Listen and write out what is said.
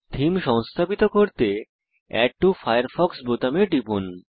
theme সংস্থাপিত করতে add to Firefox বোতামে টিপুন